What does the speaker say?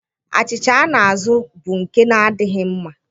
Achịcha a na-azụ bụ nke na-adịghị mma.